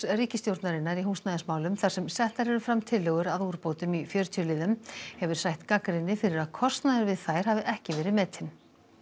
ríkisstjórnarinnar í húsnæðismálum þar sem settar eru fram tillögur að úrbótum í fjörutíu liðum hefur sætt gagnrýni fyrir að kostnaður við þær hafi ekki verið metinn